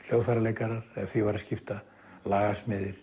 hljóðfæraleikarar ef því var að skipta